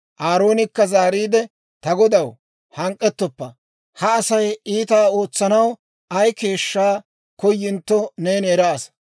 Aaroonikka zaariide, «Ta godaw, hank'k'etoppa; ha Asay iitaa ootsanaw ay keeshshaa koyintto neeni eraasa.